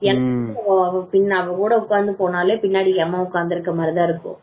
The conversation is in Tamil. அவன் கூட ஒக்காந்து போனாலே பின்னாடி எமன் உட்கார்ந்து இருக்க மாதிரி தான் இருக்கும்